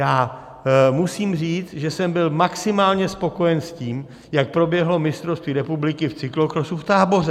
Já musím říct, že jsem byl maximálně spokojen s tím, jak proběhlo mistrovství republiky v cyklokrosu v Táboře.